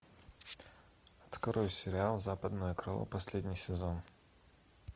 открой сериал западное крыло последний сезон